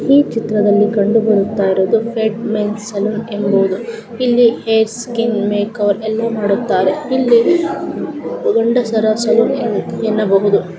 ಈ ಚಿತ್ರದಲ್ಲಿ ಕಂಡು ಬರುತ್ತಾ ಇರುವುದು ಫೇಡ್ ಮೆನ್ ಸಲೂನ್ ಎಂಬುದು ಇಲ್ಲಿ ಹೇರ್ ಸ್ಕಿನ್ ಮೇಕ್ ಓವರ್ ಎಲ್ಲಾ ಮಾಡುತ್ತಾರೆ ಇಲ್ಲಿ ಗಂಡಸರ ಸಲೂನ್ ಎನ್ ಎನ್ನಬಹುದು .